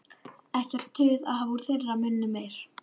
Ekkert tuð að hafa úr þeirra munni meir.